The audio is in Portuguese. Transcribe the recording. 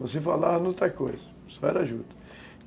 Não se falava em outra coisa, só era juta.